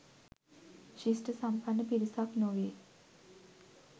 ශිෂ්ඨසම්පන්න පිරිසක් නොවේ